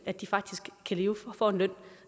at de faktisk får en løn